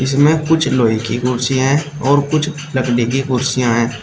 इसमें कुछ लोहे की कुर्सियां हैं और कुछ लकड़ी की कुर्सियां हैं।